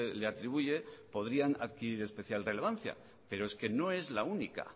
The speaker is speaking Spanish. le atribuye podrían adquirir especial relevancia pero es que no es la única